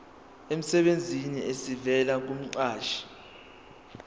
emsebenzini esivela kumqashi